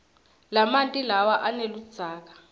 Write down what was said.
lamanti lawa aneludzaka